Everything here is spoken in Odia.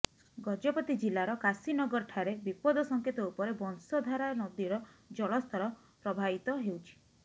ଗଜପତି ଜିଲ୍ଲାର କାଶୀନଗରଠାରେ ବିପଦ ସଙ୍କେତ ଉପରେ ବଂଶଧାରା ନଦୀର ଜଳସ୍ତର ପ୍ରବାହିତ ହେଉଛି